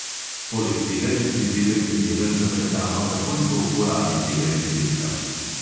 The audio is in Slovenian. Poleg tega je pridelek primeren za prehrano takoj po uporabi tega izdelka.